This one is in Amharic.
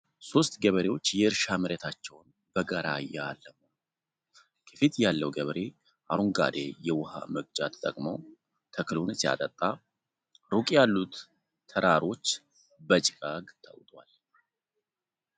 ሶስት ገበሬዎች የእርሻ መሬታቸውን በጋራ እያለሙ ነው። ከፊት ያለው ገበሬ አረንጓዴ የውሃ መቅጃ ተጠቅሞ ተክሉን ሲያጠጣ፣ ሩቅ ያሉት ተራሮች በጭጋግ ተውጠዋል።